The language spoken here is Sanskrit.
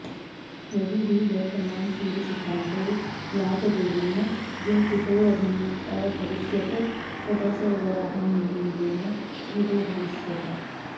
यदि हि वर्तमानसूर्यसिद्धान्तो लाटदेवेन गुम्फितोऽभविष्यत् तदा स वराहमिहिरेण स्मृतोऽभविष्यत्